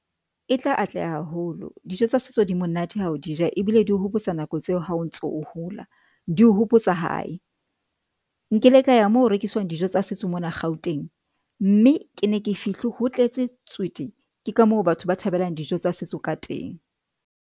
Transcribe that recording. E tla atleha haholo dijo tsa setso di monate ha o di ja ebile di o hopotsa nako tseo ha o ntso o hola di o hopotsa hae, nkile ka ya mo rekiswang dijo tsa setso mona Gauteng, mme ke ne ke fihle ho tletse tswete ke ka moo batho ba thabelang dijo tsa setso ka teng.